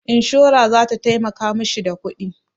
Inshora za ta taimaka ma shi da kuɗi.